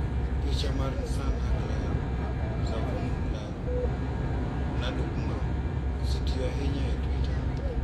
Picha mar nsanHaklarıSavunucularınaDokunma osetiyo ahinya e Twitter.